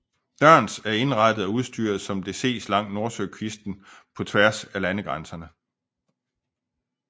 Dørns er indrettet og udstyret som det ses langs nordsøkysten på tværs af landegrænserne